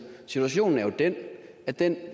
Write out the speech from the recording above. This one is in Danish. situationen er jo den at den